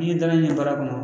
N'i dalen baara kɔnɔ